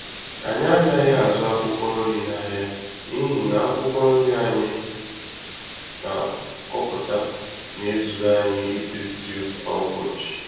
Anyị anaghị azụ akwụkwọ nri n'ahịa n'ihi na akwụkwọ nri anyị na-akọpụta na-ezuru anyị isi stew kwá ụbọchị